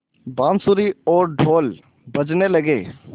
बाँसुरी और ढ़ोल बजने लगे